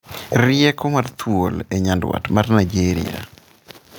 Rieko mar thuol e nyandwat mar Naijeria